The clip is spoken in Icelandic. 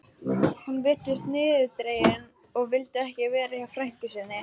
Hún virtist niðurdregin og vildi ekki vera hjá frænku sinni.